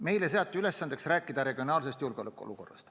Meile seati ülesandeks rääkida regionaalsest julgeolekuolukorrast.